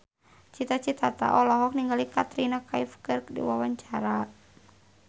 Cita Citata olohok ningali Katrina Kaif keur diwawancara